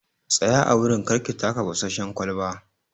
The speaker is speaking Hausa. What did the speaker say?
Tsaya a wurin!kar ki taka fasasshen kwalban.